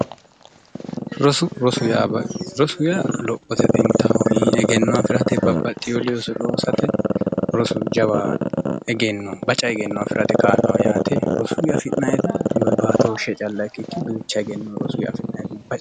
Roso yaa lophote xinttaho egenno afirate babaxewo looso loossate rosu jawa egenno baca egenno afirate kaa'lanno rosuyi afi'nayitti baatooshe calla ikiki duucha egenno rosuyi